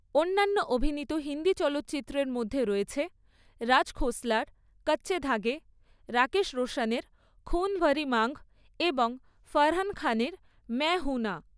অন্যান্য অভিনীত হিন্দি চলচ্চিত্রের মধ্যে রয়েছে রাজ খোসলার কাচ্চে ধাগে, রাকেশ রোশনের খুন ভারি মাংগ এবং ফারাহ খানের ম্যায় হুঁ না।